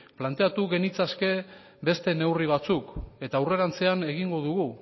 planteatu genitzake beste neurri batzuk eta aurrerantzean egingo dugu